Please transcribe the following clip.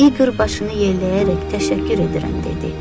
İqor başını yelləyərək təşəkkür edirəm dedi.